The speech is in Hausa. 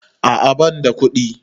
A'a banda kuɗi